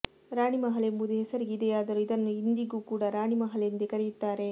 ರಾಣಿಮಹಲ್ ಎಂಬುದು ಹೆಸರಿಗೆ ಇದೆಯಾದರೂ ಇದನ್ನು ಇಂದಿಗೂ ಕೂಡ ರಾಣಿಮಹಲ್ ಎಂದೇ ಕರೆಯುತ್ತಾರೆ